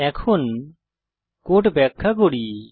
এখন কোড ব্যাখ্যা করি